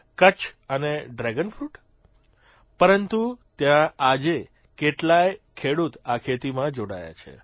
કચ્છ અને dragon fruit પરંતુ ત્યાં આજે કેટલાય ખેડૂત આ ખેતીમાં જોડાયા છે